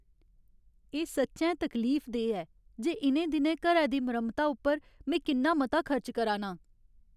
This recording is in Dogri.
एह् सच्चैं तकलीफदेह् ऐ जे इ'नें दिनैं घरै दी मरम्मता उप्पर में किन्ना मता खर्च करा नां ।